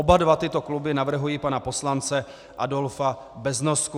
Oba dva tyto kluby navrhují pana poslance Adolfa Beznosku.